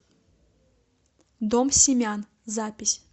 дом семян запись